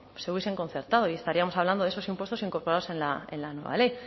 se hubiesen concertado y estaríamos hablando de esos impuestos incorporados en la nueva ley